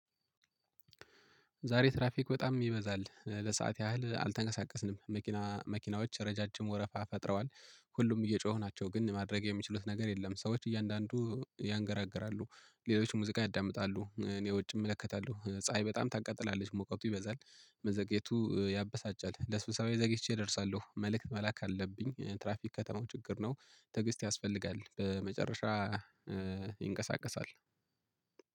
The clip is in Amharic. ዛሬ ትራፊክ በጣም ይበዛል። ለሰአት ያህል አልተንቀሳቀስንም። መኪናዎች ረዣዥም ወረፋ ፈጥረዋል። ሁሉም እየጮኹ ናቸው ግን ማድረግ የሚችሉት ነገር የለም። ሰዎች እያንዳንዱ ያንገራግራሉ። ሌሎች ሙዚቃ ያዳምጣሉ እኔ ውጭ እመለከታለሁ። ፀሀይ በጣም ታቃጥላለች ሙቀቱ ይበዛል። መዘግየቱ ያበሳጫል። ለስብሰባ ዘግይቼ እደርሳለሁ። መልእክት መላክ አለብኝ። ትራፊክ ከተማው ችግር ነው። ትዕግስት ያስፈልጋል በመጨረሻ ይንቀሳቀሳል።